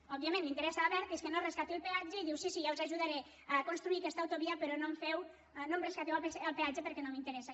òbviament interessa a abertis que no es rescati el peatge i diu sí sí ja us ajudaré a construir aquesta autovia però no em resca·teu el peatge perquè no m’interessa